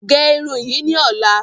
Barb this hair tomorrow